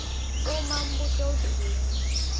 uma umbuto udzinga